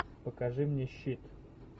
покажи мне щит